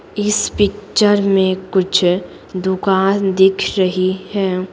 इस पिक्चर में कुछ दुकान दिख रही है।